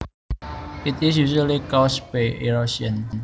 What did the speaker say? It is usually caused by erosion